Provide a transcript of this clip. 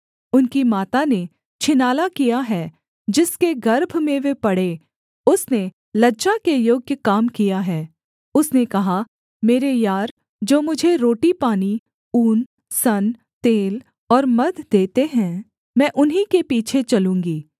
उनकी माता ने छिनाला किया है जिसके गर्भ में वे पड़े उसने लज्जा के योग्य काम किया है उसने कहा मेरे यार जो मुझे रोटीपानी ऊन सन तेल और मद्य देते हैं मैं उन्हीं के पीछे चलूँगी